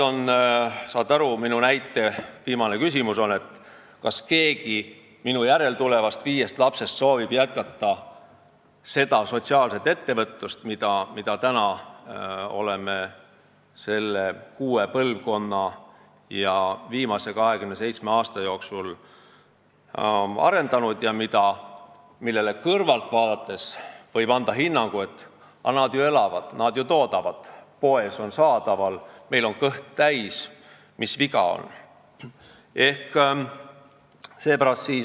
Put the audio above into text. Saate aru, minu näitel on viimane küsimus see, kas keegi minu järel tulevast viiest lapsest soovib jätkata seda sotsiaalset ettevõtlust, mida me oleme selle kuue põlvkonna ja viimase 27 aasta jooksul arendanud ja millele kõrvalt vaadates võib anda hinnangu, et nad ju elavad ja toodavad, poes on kõik saadaval, neil on kõht täis, mis viga on.